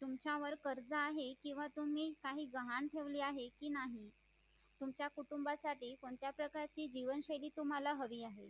तुमच्यावर कर्ज आहे किंवा तुम्ही काही गहाण ठेवले आहे की नाही तुमच्या कुटुंबासाठी कोणत्या प्रकारची जीवनशैली तुम्हाला हवी आहे